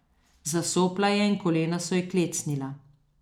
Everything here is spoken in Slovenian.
Zasopla je in kolena so ji klecnila.